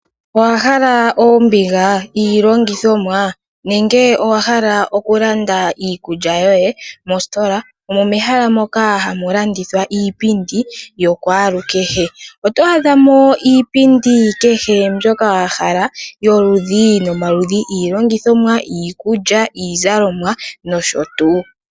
Owahala oombiga, iilongithomwa nenge owahala oku landa iikulya yoye ? Mositola omo mehala moka hamu landithwa iipindi yokwalukehe. Oto adhamo iipindi kehe mbyoka wa hala yoludhi nomaludhi, iilongithomwa, iikulya, iizalomwa noshotuu.